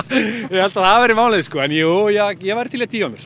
ég held að það verði málið sko en jú ég væri til í að dýfa mér